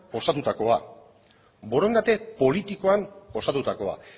osatutakoa borondate politikoan osatutakoa